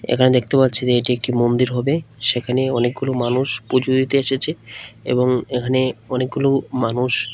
এখানে দেখতে পাচ্ছি যে এটি একটি মন্দির হবে সেখানে অনেকগুলো মানুষ পুজো দিতে এসেছে এবং এখানে অনেকগুলো মানুষ--